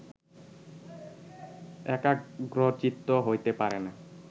একাগ্রচিত্ত হইতে পারে না